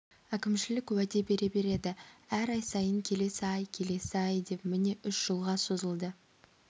әкімшілік уәде бере береді әр ай сайын келесі ай келесі ай деп міне үш жылға созылды